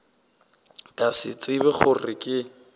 ka se tsebe gore ke